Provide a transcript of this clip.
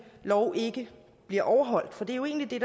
lov ikke bliver overholdt for det er jo egentlig